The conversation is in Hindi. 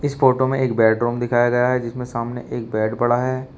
इस फोटो में एक बेडरूम दिखाया गया है जिसमें सामने एक बेड पड़ा है।